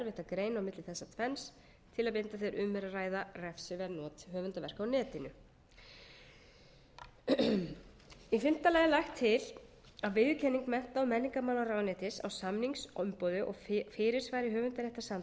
á milli þessa tvenns til að mynda þegar um er að ræða refsiverð not höfundarverka á netinu í fimmta lagi er lagt til að viðurkenning mennta og menningarmálaráðuneytis á samningsumboði og fyrirsvari